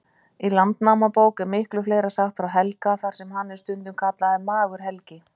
Í Landnámabók er miklu fleira sagt frá Helga, þar sem hann er stundum kallaður Magur-Helgi.